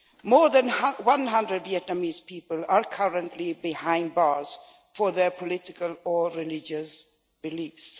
More than one hundred Vietnamese people are currently behind bars for their political or religious beliefs.